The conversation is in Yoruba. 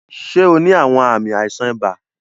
Ṣe o ni awọn aami aisan iba?